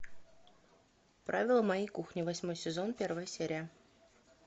правила моей кухни восьмой сезон первая серия